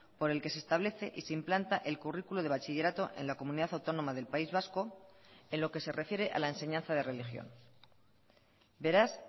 por el que se establece y se implanta el currículo de bachillerato en la comunidad autónoma del país vasco en lo que se refiere a la enseñanza de religión beraz